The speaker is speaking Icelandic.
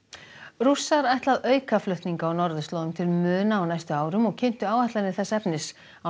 rússar ætla að auka flutninga á norðurslóðum til muna á næstu árum og kynntu áætlanir þess efnis á